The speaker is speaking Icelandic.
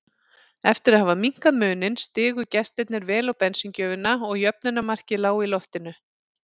Eftir að hafa minnkað muninn stigu gestirnir vel á bensíngjöfina og jöfnunarmarkið lá í loftinu.